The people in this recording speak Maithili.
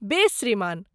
बेस श्रीमान।